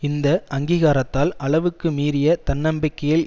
இந்தஅங்கீகாரத்தால் அளவுக்கு மீறிய தன்னம்பிக்கையில்